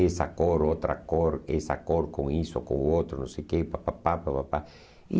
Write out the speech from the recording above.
Essa cor, outra cor, essa cor com isso, com outro, não sei o quê, papapá, papapá. E